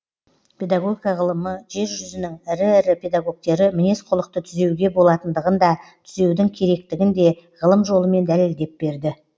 педагогика ғылымы жер жүзінің ірі ірі педагогтері мінез құлықты түзеуге болатындығын да түзеудің керектігін де ғылым жолымен дәлелдеп берді